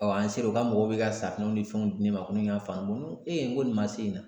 an ser'u ka mɔgɔw bɛ ka safunɛw ni fɛnw di ne ma ko ne ka faamu ee ko nin ma se nin na